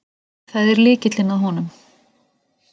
Það er lykillinn að honum.